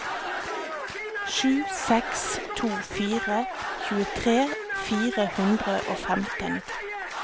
sju seks to fire tjuetre fire hundre og femten